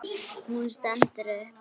Hún stendur upp.